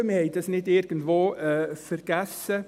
Wir haben das nicht irgendwo vergessen.